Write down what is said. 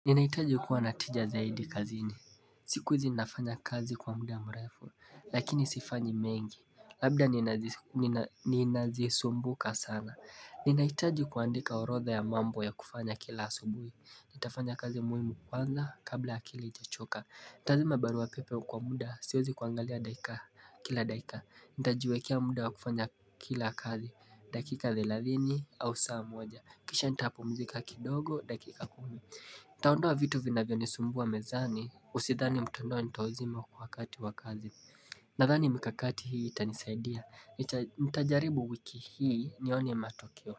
Ninahitaji kuwa na tija zaidi kazini. Siku zinafanya kazi kwa muda mrefu, lakini sifanyi mengi. Labda ninazisumbuka sana. Ninahitaji kuandika orodha ya mambo ya kufanya kila asubuhi. Nitafanya kazi muhimu kwanza kabla akili haijachoka. Nitazima barua pepe kwa muda, siwezi kuangalia dakika kila dakika. Nitajiwekea muda wa kufanya kila kazi, dakika thelathini au saa moja. Kisha nitapumzika kidogo, dakika kumi. Nitaondoa vitu vinavyonisumbua mezani Usidhani mtandao nitauzima wakati wa kazi Nadhani mikakati hii itanisaidia Nitajaribu wiki hii nione matokeo.